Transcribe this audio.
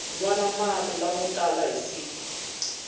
nwana mati lamo tala hi siku